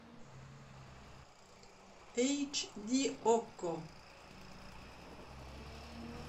эйч ди окко